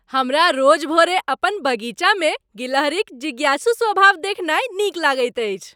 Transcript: हमरा रोज भोरे अपन बगीचामे गिलहरिक जिज्ञासु स्वभाव देखनाय नीक लगैत अछि।